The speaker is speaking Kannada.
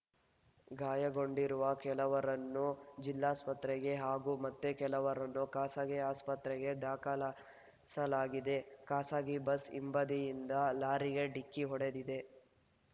ಗಾಯಗೊಂಡಿರುವ ಕೆಲವರನ್ನು ಜಿಲ್ಲಾಸ್ಪತ್ರೆಗೆ ಹಾಗೂ ಮತ್ತೆ ಕೆಲವರನ್ನು ಖಾಸಗಿ ಆಸ್ಪತ್ರೆಗೆ ದಾಖಲ ಸಲಾಗಿದೆ ಖಾಸಗಿ ಬಸ್‌ ಹಿಂಬದಿಯಿಂದ ಲಾರಿಗೆ ಡಿಕ್ಕಿ ಹೊಡೆದಿದೆ